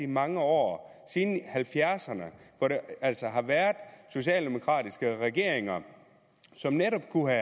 mange år siden halvfjerdserne hvor der altså har været socialdemokratiske regeringer som netop kunne